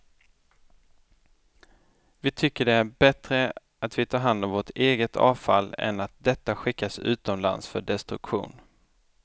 Vi tycker det är bättre att vi tar hand om vårt eget avfall än att detta skickas utomlands för destruktion.